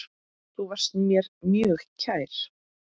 Þú varst mér mjög kær.